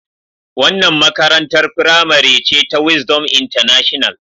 Wannan makarantar firamare ce ta Wisdom international.